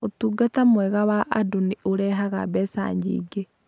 Ũtungata mwega wa andũ nĩ ũrehaga mbeca nyingĩ.